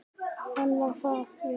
Hann var það, já.